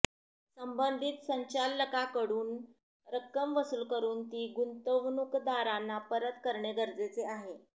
संबंधित संचालकांकडून रक्कम वसूल करून ती गुंतवणूकदारांना परत करणे गरजेचे आहे